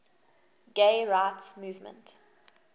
gay rights movement